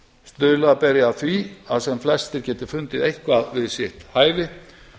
stuðla beri að því að sem flestir geti fundið eitthvað við sitt hæfi